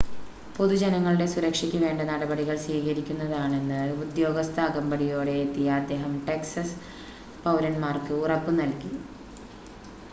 പൊതുജനങ്ങളുടെ സുരക്ഷയ്ക്ക് വേണ്ട നടപടികൾ സ്വീകരിക്കുന്നതാണെന്ന് ഉദ്യോഗസ്ഥ അകമ്പടിയോടെ എത്തിയ അദ്ദേഹം ടെക്സസ് പൗരന്മാർക്ക് ഉറപ്പ് നൽകി